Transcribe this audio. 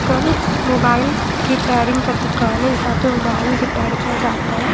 कल mobile repairing का दुकान हैयहाँ पे मोबाइल रिपेयर किया जाता है।